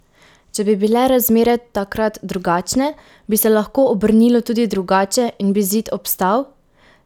Če bi bile razmere takrat drugačne, bi se lahko obrnilo tudi drugače in bi zid obstal?